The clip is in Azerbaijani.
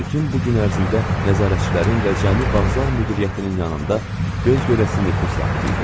Bütün bu gün ərzində nəzarətçilərin və cəmi vağzal müdiriyyətinin yanında göz görəsi nüfuz sahibi idi.